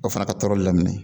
O fana ka tɔɔrɔli daminɛ